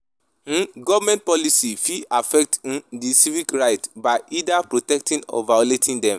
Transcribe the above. um Government policies fit affect um di civic rights by either protecting or violating dem.